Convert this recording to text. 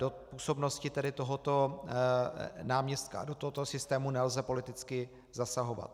Do působnosti tedy tohoto náměstka do tohoto systému nelze politicky zasahovat.